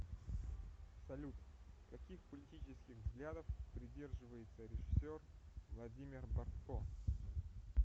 салют каких политических взглядов придерживается режисер владимир бортко